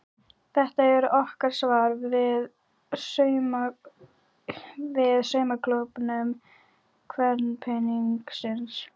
Þetta er okkar svar við saumaklúbbum kvenpeningsins.